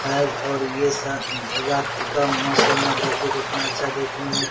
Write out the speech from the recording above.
आब और ये सन रात का मौसम है देखिये कितना अच्छा देखने में --